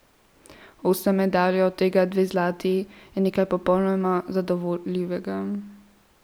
Osem medalj, od tega dve zlati, je nekaj popolnoma zadovoljivega.